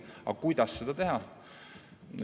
Aga kuidas seda teha?